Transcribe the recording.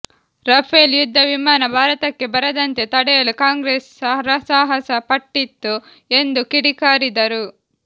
Rafale ಯುದ್ಧ ವಿಮಾನ ಭಾರತಕ್ಕೆ ಬರದಂತೆ ತಡೆಯಲು ಕಾಂಗ್ರೆಸ್ ಹರಸಾಹಸ ಪಟ್ಟಿತ್ತು ಎಂದು ಕಿಡಿಕಾರಿದರು